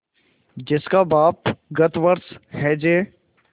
जिसका बाप गत वर्ष हैजे